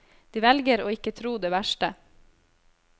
De velger å ikke tro det verste.